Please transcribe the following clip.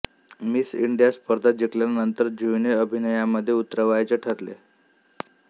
miss India स्पर्धा जिंकल्यानंतर जुहीने अभिनयामध्ये उतरायचे ठरवले